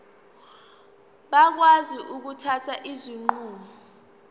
bakwazi ukuthatha izinqumo